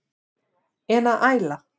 En að æla?